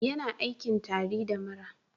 Yana aikin tari da mura